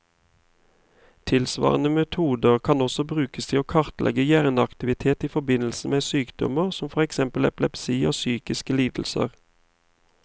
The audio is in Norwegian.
Tilsvarende metoder kan også brukes til å kartlegge hjerneaktivitet i forbindelse med sykdommer, som for eksempel epilepsi og psykiske lidelser.